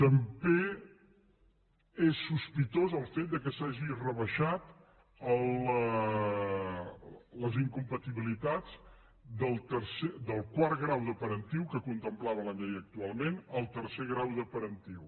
també és sospitós el fet que s’hagin rebaixat les in·compatibilitats del quart grau de parentiu que con·templava la llei actualment al tercer grau de paren·tiu